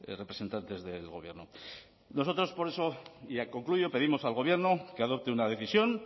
representantes del gobierno nosotros por eso y ya concluyo pedimos al gobierno que adopte una decisión